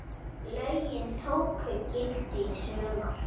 Lögin tóku gildi í sumar.